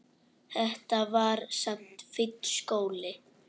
Þetta var samt fínn skóli.